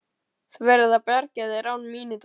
Þú verður að bjarga þér án mín í dag.